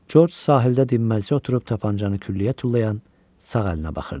George sahildə dinməzcə oturub tapançanı küllüyə tullayan sağ əlinə baxırdı.